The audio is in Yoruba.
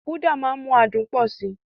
Uda máa ń mú adùn pọ̀ sí i.